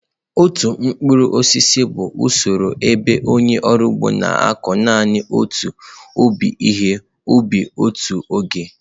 Otu mkpụrụ osisi bụ usoro ebe onye ọrụ ugbo na-akụ naanị otu ụdị ihe ubi n'otu oge.